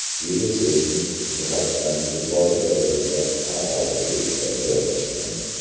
Chili seysmik jihatdan yuqori darajada faol hududda joylashgan.